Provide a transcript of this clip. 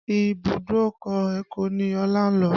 Ibùdókọ̀ Èkó ni Ọlá ń lọ.